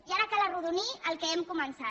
i ara cal arrodonir el que hem començat